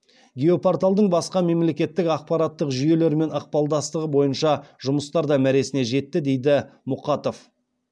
геопорталдың басқа мемлекеттік ақпаратттық жүйелермен ықпалдастығы бойынша жұмыстар да мәресіне жетті дейді мұқатов